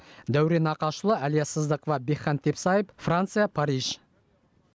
дәурен ақашұлы алия сыздыкова бекхан тепсаев франция париж